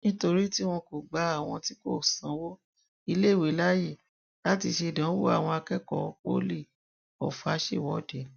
nítorí tí wọn kò gba àwọn tí kò sanwó iléèwé láàyè láti ṣèdánwò àwọn akẹkọọ poli ọfà ṣèwọde